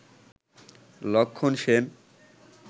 লক্ষন সেন